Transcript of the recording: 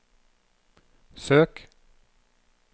søk